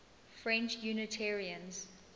french unitarians